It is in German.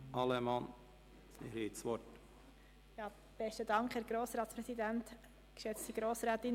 – Regierungsrätin Allemann, Sie haben das Wort.